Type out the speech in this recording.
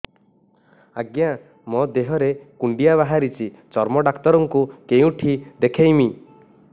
ଆଜ୍ଞା ମୋ ଦେହ ରେ କୁଣ୍ଡିଆ ବାହାରିଛି ଚର୍ମ ଡାକ୍ତର ଙ୍କୁ କେଉଁଠି ଦେଖେଇମି